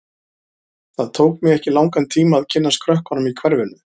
Það tók mig ekki langan tíma að kynnast krökkunum í hverfinu.